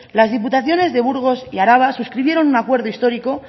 las diputaciones de burgo y araba suscribieron un acuerdo histórico